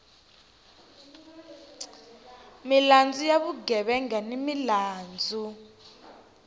milandzu ya vugevenga ni milandzu